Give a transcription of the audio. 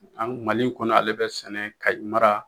An mali kɔnɔ in kɔnɔ ale bɛ sɛnɛ kaye mara